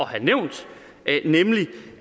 have nævnt